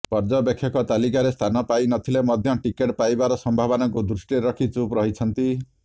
ପର୍ଯ୍ୟବେକ୍ଷକ ତାଲିକାରେ ସ୍ଥାନ ପାଇନଥିଲେ ମଧ୍ୟ ଟିକେଟ ପାଇବାର ସମ୍ଭାବନାକୁ ଦୃଷ୍ଟିରେ ରଖି ଚୁପ୍ ରହିଛନ୍ତି